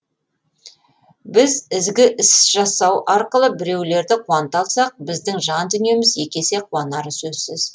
біз ізгі іс жасау арқылы біреулерді қуанта алсақ біздің жан дүниеміз екі есе қуанары сөзсіз